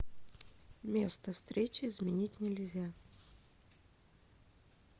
место встречи изменить нельзя